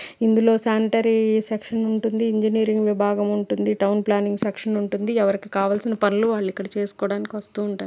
ఇందులో sanitary section ఉంటుంది engineering విబాగం ఉంటుంది టౌన్ ప్లానింగ్ సెక్షన్ ఉంటుంది ఎవరికి కావలసిన పనులు వాళ్లు ఇక్కడ చేసుకోవడానికి వస్తూ ఉంటారు.